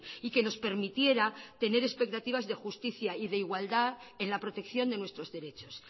y que nos permitiera tener expectativas de justicia y de igualdad en la protección de nuestros derechos